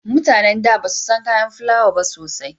Mutanen da basu san kayan filawa ba sosai